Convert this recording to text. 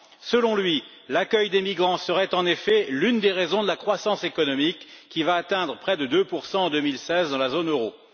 Selon lui, l'accueil des migrants serait en effet l'une des raisons de la croissance économique qui va atteindre près de 2 en 2016 dans la zone euro.